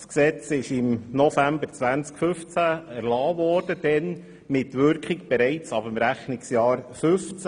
Das Gesetz wurde im November 2015 erlassen mit Wirkung ab dem Rechnungsjahr 2015.